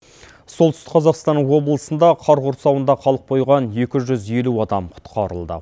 солтүстік қазақстан облысында қар құрсауында қалып қойған екі жүз елу адам құтқарылды